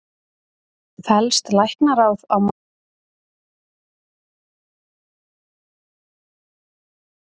Fellst Læknaráð á matsgerð læknanna Stefáns Carlssonar og Sigurgeirs Kjartanssonar?